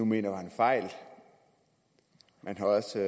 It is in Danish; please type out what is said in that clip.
nu mener var en fejl man har også